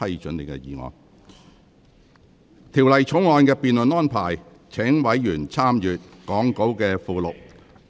就《條例草案》的辯論安排，委員可參閱講稿附錄。